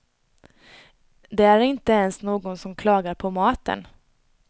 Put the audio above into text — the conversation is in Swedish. Det är inte ens någon som klagar på maten.